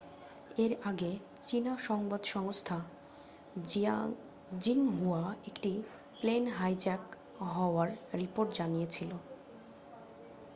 এর আগে চীনা সংবাদ সংস্থা জিংহুয়া একটি প্লেন হাইজ্যাক হওয়ার রিপোর্ট জানিয়েছিল